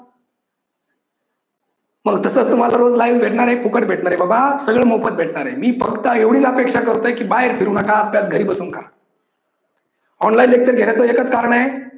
मग तसाच तुम्हाला सर्व live भेटणार आहे फुकट भेटणार आहे बाबा सर्व मोफत भेटणार आहे मी फक्त एवढीच अपेक्षा करतो की बाहेर फिरू नका आपल्याच घरी बसून खा. online lecture घेण्याच एकच कारण आहे